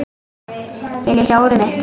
Viljiði sjá úrið mitt?